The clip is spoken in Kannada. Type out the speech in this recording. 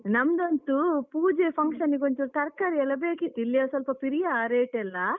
ನಂದೊನ್ದು ಪೂಜೆ function ನಿಗೊಂಚೂರ್ ತರ್ಕಾರಿ ಎಲ್ಲ ಬೇಕಿತ್ತು, ಇಲ್ಲಿ ಸ್ವಲ್ಪ ಪಿರಿಯ rate ಎಲ್ಲ.